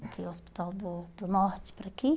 Porque é o hospital do do norte para aqui.